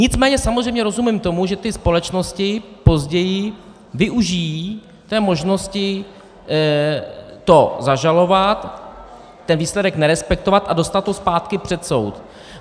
Nicméně samozřejmě rozumím tomu, že ty společnosti později využijí té možnosti to zažalovat, ten výsledek nerespektovat a dostat to zpátky před soud.